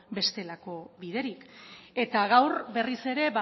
bestelako biderik eta gaur berriz ere